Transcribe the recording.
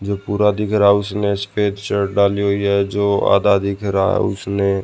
जो पूरा दिख रहा है उसने सफेद शर्ट डाली हुई है जो आधा दिख रहा है उसने --